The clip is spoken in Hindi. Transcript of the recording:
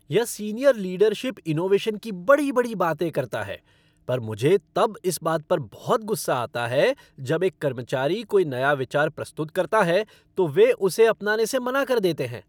यह सीनियर लीडरशिप इनोवेशन की बड़ी बड़ी बातें करता है पर मुझे तब इस बात पर बहुत गुस्सा आता है जब एक कर्मचारी कोई नया विचार प्रस्तुत करता है, तो वे उसे मनाने से मना कर देते हैं।